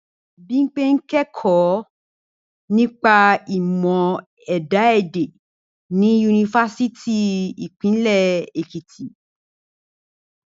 Bímpé ń kẹ́kọ̀ọ́ nípa ìmọ̀ ẹ̀dá èdè ni yunifásítì ti Ìpínlẹ̀ Èkìtì